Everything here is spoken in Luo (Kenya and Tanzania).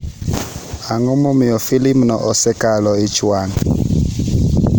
Ang’o momiyo filimno osekelo ich wang'?